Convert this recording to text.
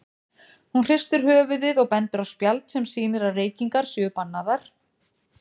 Hún hristir höfuðið og bendir á spjald sem sýnir að reykingar séu bannaðar.